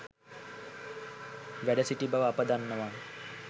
වැඩ සිටි බව අප දන්නවා.